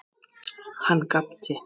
Hann gapti.